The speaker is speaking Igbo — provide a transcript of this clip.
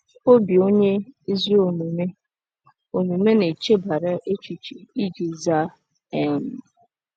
“Obi onye ezi omume omume na-echebara echiche iji zaa.” um